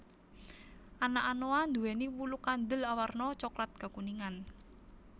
Anak anoa duwéni wulu kandel awarna coklat kekuningan